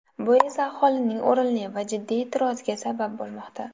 Bu esa aholining o‘rinli va jiddiy e’tiroziga sabab bo‘lmoqda.